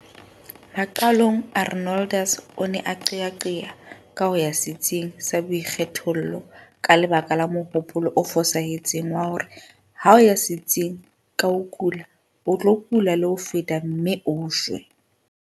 Maqalong Arnoldus o ne a qeaqea ka ho ya setsing sa boikgethollo ka lebaka la mohopolo o fosahetseng wa hore ha o ya setsing ka ho kula o tlo kula le ho feta mme o shwe.